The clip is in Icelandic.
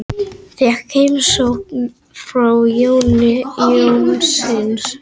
Fékk heimsókn frá Jóni Jónssyni.